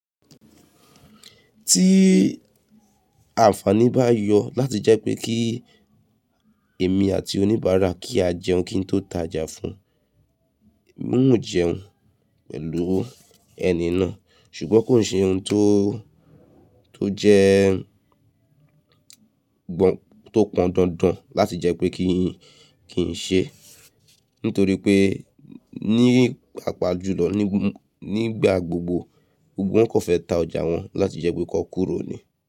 Tí àǹfàní bá yọ láti jẹ́ pé kí èmi àti oníbàárà kí á jẹun kí n tó ta ọjà fún, ń jẹun pẹ̀lú ẹni náà ṣùgbọ́n kò ṣe ohun tó, tó jẹ́ gbọ́n tó pọn dandan láti jẹ́ pé kí n ṣe, nítorí pé ní pàpajùlọ nígbà gbogbo wọ́n kò fẹ́ ta ọjà wọn láti jẹ́ pé kó kúrò ni.